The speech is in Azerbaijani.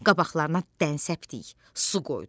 Qabaqlarına dən səpdik, su qoyduq.